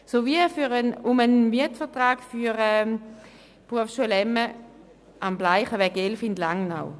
Zudem geht es um einen Mietvertrag für die Berufsschule Bildungszentrum Emme (bz emme) am Bleicheweg 11 in Langnau.